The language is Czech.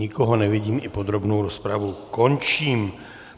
Nikoho nevidím, i podrobnou rozpravu končím.